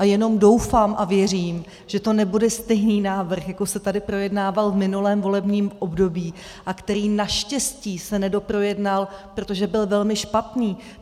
A jenom doufám a věřím, že to nebude stejný návrh, jako se tady projednával v minulém volebním období a který naštěstí se nedoprojednal, protože byl velmi špatný.